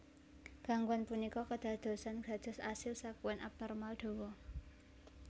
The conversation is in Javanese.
Gangguan punika kédadosan dados asil sèkuèn abnormal dhawa